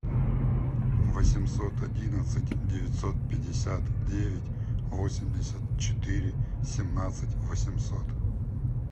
восемьсот одиннадцать девятьсот пятьдесят девять восемьдесят четыре семнадцать восемьсот